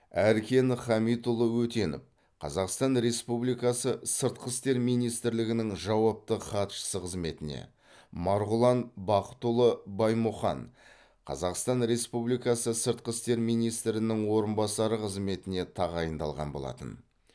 әркен хамитұлы өтенов қазақстан республикасы сыртқы істер министрлігінің жауапты хатшысы қызметіне марғұлан бақытұлы баймұхан қазақстан республикасы сыртқы істер министрінің орынбасары қызметіне тағайындалған болатын